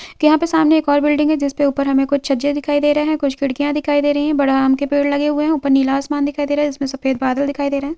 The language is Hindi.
यहाँ पर सामने एक और बिल्डिंग है जिसपे ऊपर हमें कुछ छज्जे दिखाई दे रहे है कुछ खिड़किया दिखाई दे रही है बड़ा आम के पेड़ लगे हुए है ऊपर नीला आसमान दिखाई दे रहा है जिसमे सफ़ेद बदल भी दिखाई दे रहे है।